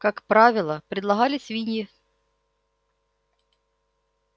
как правило предлагали свиньи